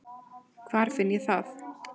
Hvar finn ég það?